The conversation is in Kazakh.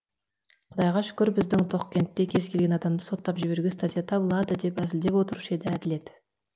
құдайға шүкір біздің тоқкентте кез келген адамды соттап жіберуге статья табылады деп әзілдеп отырушы еді әділет